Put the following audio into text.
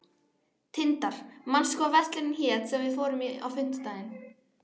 Tindar, manstu hvað verslunin hét sem við fórum í á fimmtudaginn?